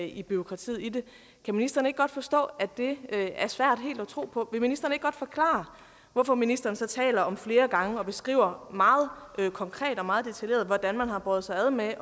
i bureaukratiet i det kan ministeren ikke godt forstå at det er svært helt at tro på vil ministeren så ikke godt forklare hvorfor ministeren så taler om flere gange og beskriver meget konkret og meget detaljeret hvordan man har båret sig ad med at